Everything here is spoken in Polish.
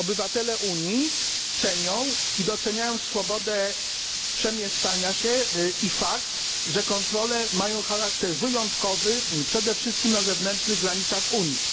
Obywatele Unii cenią i doceniają swobodę przemieszczania się i fakt, że kontrole mają charakter wyjątkowy, przede wszystkim na zewnętrznych granicach Unii.